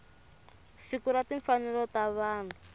siku ra timfanelo ta vanhu